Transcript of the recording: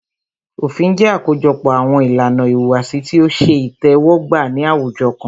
Òfin jẹ́ àkójọpọ̀ àwọn ìlànà ìhùwàsí tí o ṣe itẹ́wọ́gbà ní àwùjọ kan.